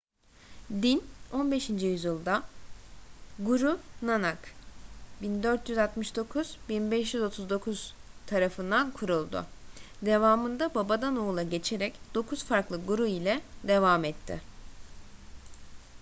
din 15. yüzyılda guru nanak 1469–1539 tarafından kuruldu. devamında babadan oğula geçerek dokuz farklı guru ile devam etti